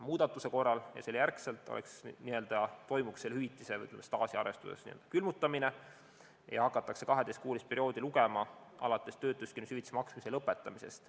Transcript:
Muudatuse korral toimuks selle hüvitise n-ö staažiarvestuses n-ö külmutamine ja hakatakse 12-kuulist perioodi lugema alates töötuskindlustushüvitise maksmise lõpetamisest.